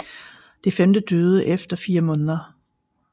Det femte døde efter fire måneder